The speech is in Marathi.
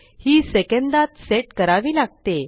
ही सेकंदात सेट करावी लागते